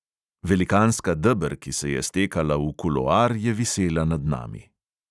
Velikanska deber, ki se je stekala v kuloar, je visela nad nami.